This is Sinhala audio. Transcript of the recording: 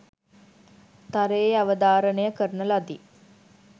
තරයේ අවධාරණය කරන ලදි